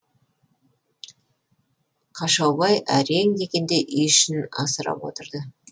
қашаубай әрең дегенде үй ішін асырап отырды